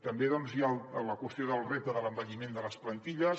també hi ha la qüestió del repte de l’envelliment de les plantilles